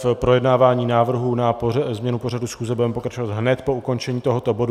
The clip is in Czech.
V projednávání návrhů na změnu pořadu schůze budeme pokračovat hned po ukončení tohoto bodu.